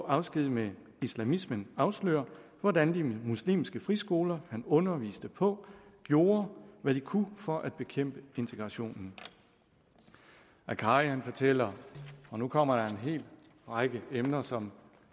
afsked med islamismen afslører hvordan de muslimske friskoler han underviste på gjorde hvad de kunne for at bekæmpe integrationen akkari fortæller og nu kommer der en hel række emner som